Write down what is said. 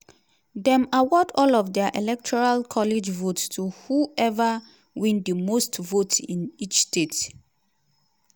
dem award all of dia electoral college votes to whoever win di most vote in each state.